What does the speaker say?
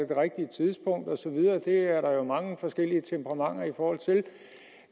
det rigtige tidspunkt osv og det er noget som der er mange forskellige temperament